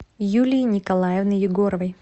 юлии николаевны егоровой